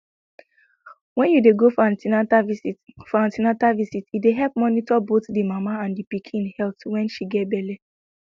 when you de go for an ten atal for an ten atal visit e de help monitor both the mama and pikin health when she get belle